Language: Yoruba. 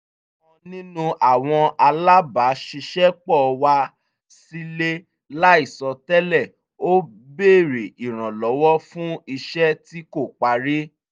ọ̀kan nínú àwọn alábàṣiṣẹ́pọ̀ wá sílé láìsọ tẹ́lè ó béèrè ìrànlọ́wọ́ fún iṣẹ́ tí kò parí